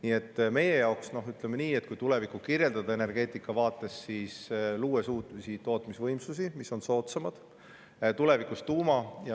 Ütleme nii, kui energeetika vaates meie tulevikku kirjeldada, siis loome uusi tootmisvõimsusi, mis on soodsamad, ja tulevikus ka tuuma.